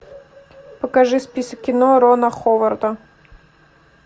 покажи список кино рона ховарда